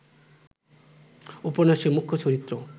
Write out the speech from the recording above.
উপন্যাসের মুখ্য চরিত্র